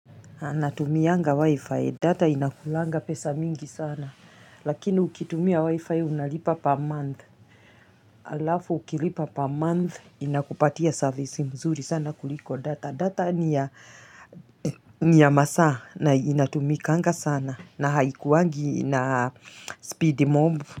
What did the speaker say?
Anatumianga wi-fi data inakulaga pesa mingi sana. Lakini ukitumia wi-fi unalipa pa month. Alafu ukilipa per month inakupatia service nzuri sana kuliko data data niya niya masaa na inatumianga sana na haikuwangi na speedy mobu.